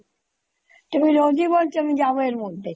তুমি রোজই বলছো আমি যাবো এর মধ্যে।